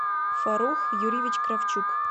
фарух юрьевич кравчук